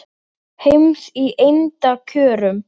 heims í eymda kjörum